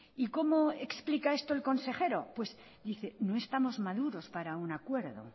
y cómo explica esto el consejero pues dice no estamos maduros para un acuerdo